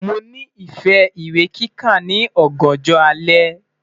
Mo nifẹ iwe kika ni ọganjọ alẹ